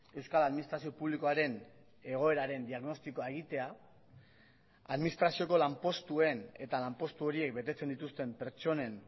euskal administrazio publikoaren egoeraren diagnostikoa egitea administrazioko lanpostuen eta lanpostu horiek betetzen dituzten pertsonen